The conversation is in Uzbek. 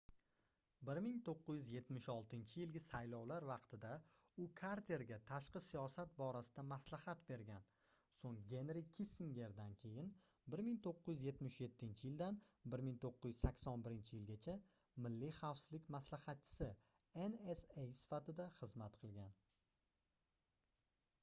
1976-yilgi saylovlar vaqtida u karterga tashqi siyosat borasida maslahat bergan so'ng genri kissingerdan keyin 1977-yildan 1981-yilgacha milliy xavfsizlik maslahatchisi nsa sifatida xizmat qilgan